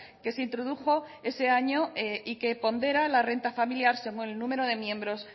que se introdujo ese año y que pondera la renta familiar según el número de miembros